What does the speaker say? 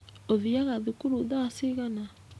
Ũthiaga thukuru tha cigana?